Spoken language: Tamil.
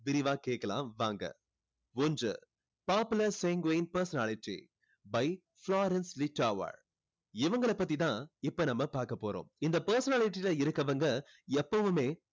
விரிவா கேக்கலாம் வாங்க ஒன்று popular sanguine personality by Florence Littauer இவங்களை பத்தி தான் இப்போ நம்ம பார்க்க போறோம் இந்த personality ல இருக்கவங்க எப்பவுமே